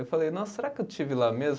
Eu falei, nossa, será que eu estive lá mesmo?